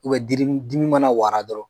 U bɛ diri m dimi mana wara dɔrɔn